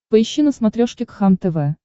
поищи на смотрешке кхлм тв